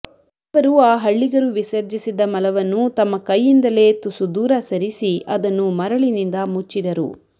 ಅವರು ಆ ಹಳ್ಳಿಗರು ವಿಸರ್ಜಿಸಿದ್ದ ಮಲವನ್ನು ತಮ್ಮ ಕೈಯಿಂದಲೇ ತುಸು ದೂರ ಸರಿಸಿ ಅದನ್ನು ಮರಳಿನಿಂದ ಮುಚ್ಚಿದರು